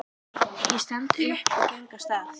Ég stend upp og geng af stað.